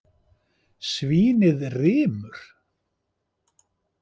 Svínið rymur.